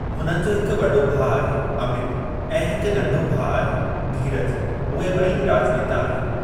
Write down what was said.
हुननि जो हिकु वॾो भाउ आहे अमित ऐं हिकु नंढो भाउ आहे धीरज, उहे बे॒ई ई राज॒नेता आहिनि।